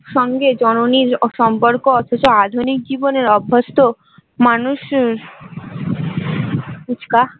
সঙ্গে জননীর সম্পর্ক অথচ আধুনিক জীবনের অভ্যস্থ মানুষ